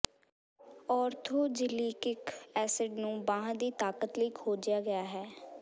orthosilicic acid ਨੂੰ ਬਾਂਹ ਦੀ ਤਾਕਤ ਲਈ ਖੋਜਿਆ ਗਿਆ ਹੈ